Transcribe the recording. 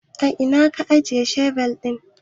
A ina ka ajiye shebir ɗin?